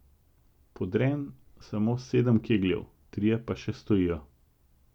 Podrem samo sedem kegljev, trije pa še stojijo.